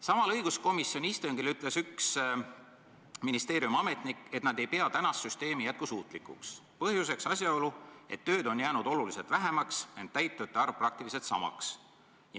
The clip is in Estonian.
Samal õiguskomisjoni istungil ütles üks ministeeriumiametnik, et nad ei pea tänast süsteemi jätkusuutlikuks, põhjuseks asjaolu, et tööd on jäänud oluliselt vähemaks, ent täitjate arv praktiliselt samaks.